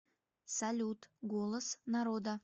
салют голос народа